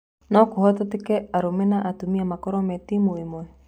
No kũhotekeke arũme na atumia gũkorwo me timu ĩmwe ?